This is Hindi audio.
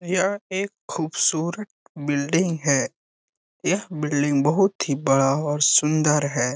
यह एक खूबसूरत बिल्डिंग है यह बिल्डिंग बहुत ही बड़ा और सुंदर है।